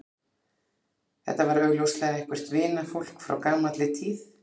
Þetta var augljóslega eitthvert vinafólk frá gamalli tíð.